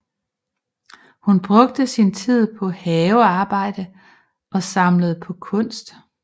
Hun brugte sin tid på havearbejde og samlede på kunst